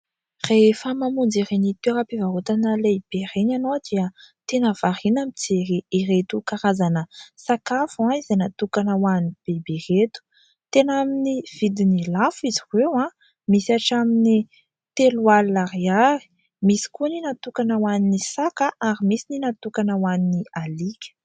Rehefa mamonjy ireny toera-pivarotana lehibe ireny ianao dia tena variana mijery ireto karazana sakafo izay natokana ho an'ny biby ireto. Tena amin'ny vidin'ny lafo izy ireo an! Misy hatramin'ny telo alina ariary ; misy koa ny natokana ho an'ny saka ary misy ny natokana ho an'ny alika.